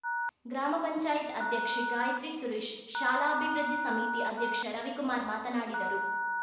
ಗ್ರಾಮ ಪಂಚಾಯತ್ ಅಧ್ಯಕ್ಷೆ ಗಾಯಿತ್ರಿ ಸುರೇಶ್‌ ಶಾಲಾಭಿವೃದ್ಧಿ ಸಮಿತಿ ಅಧ್ಯಕ್ಷ ರವಿಕುಮಾರ್‌ ಮಾತನಾಡಿದರು